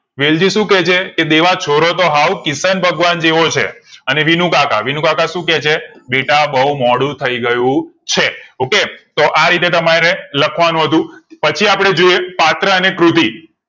વેલઝી શું કે છે કે દેવા છોરો તો હાવ કીર્તન ભગવાન જેવો છે અને વિનુકાકા વિનુકાકા શું કે છે બીટા બૌ મોડું થાય ગયું છે okay તો રીતે તમારે લખવા નું હતું પછી અપડે જોઈએ પાત્ર અને કૃતિ